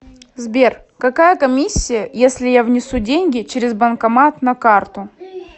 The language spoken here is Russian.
сбер какая комиссия если я внесу деньги через банкомат на карту